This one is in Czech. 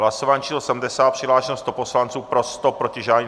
Hlasování číslo 70, přihlášeno 100 poslanců, pro 100, proti žádný.